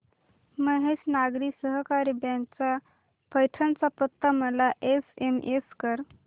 महेश नागरी सहकारी बँक चा पैठण चा पत्ता मला एसएमएस कर